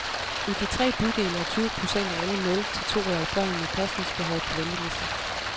I de tre bydele er tyve procent af alle nul til to årige børn med pasningsbehov på venteliste.